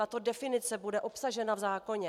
Tato definice bude obsažena v zákoně.